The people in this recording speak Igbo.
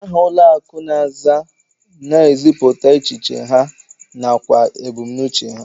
Aha ụlọakụ na-aza na-ezipụta echiche ha nakwa ebumnuche ha